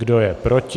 Kdo je proti?